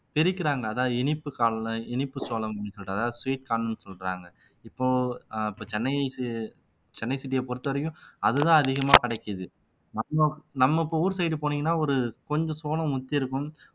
பிரிக்கிறாங்க அதா இனிப்பு இனிப்பு சோளம் அப்படின்னு சொல்லிட்டு அதாவது sweet corn ன்னு சொல்றாங்க இப்போ ஆஹ் இப்போ சென்னை ci சென்னை city யைப் பொறுத்தவரைக்கும் அதுதான் அதிகமா கிடைக்குது நம்ம இப்ப ஊர் side போனீங்கன்னா ஒரு கொஞ்சம் சோளம் முத்தி இருக்கும்